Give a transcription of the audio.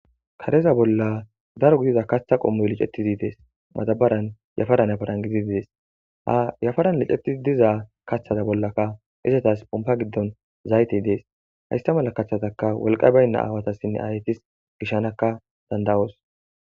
kareza bolla daro gidida kaththa qommoy licettidi dees madabaran yafaran yafaran gididi dees ha yafaran licettizi diza kaththata bollaka isetas pompa giddon zayitey dees haysta mala kaththataka wolqa baynna aawatassinne hayetas gishanakka danida'os